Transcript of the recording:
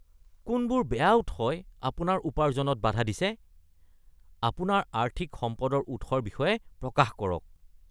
কোনবোৰ বেয়া উৎসই আপোনাৰ উপাৰ্জনত বাধা দিছে? আপোনাৰ আৰ্থিক সম্পদৰ উৎসৰ বিষয়ে প্ৰকাশ কৰক।